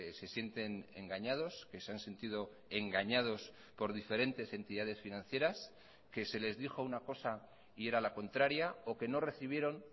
se sienten engañados que se han sentido engañados por diferentes entidades financieras que se les dijo una cosa y era la contraria o que no recibieron